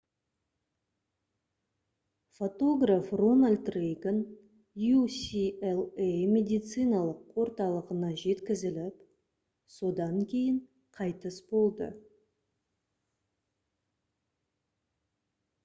фотограф рональд рейган ucla медициналық орталығына жеткізіліп содан кейін қайтыс болды